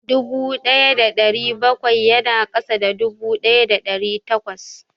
Dubu ɗaya da ɗari bakwai ya na ƙasa da dubu ɗaya da ɗari takwas